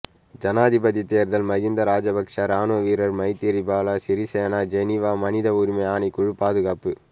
ஜனாதிபதி தேர்தல் மஹிந்த ராஜபக்ஷ இராணுவ வீரர் மைத்திரிபால சிறிசேன ஜெனிவா மனித உரிமை ஆணைக்குழு பாதுகாப்பு